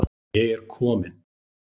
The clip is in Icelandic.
Ég er komin.